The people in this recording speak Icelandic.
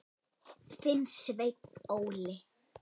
Þinn, Sveinn Óli.